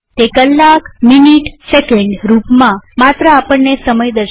તે કલાકમિનીટસેકંડ રૂપમાં માત્ર આપણને સમય દર્શાવે છે